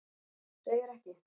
Þú segir ekki?